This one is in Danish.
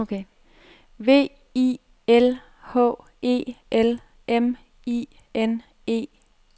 V I L H E L M I N E